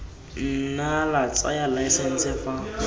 nna la tsaya laesense fa